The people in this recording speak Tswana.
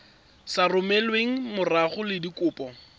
sa romelweng mmogo le dikopo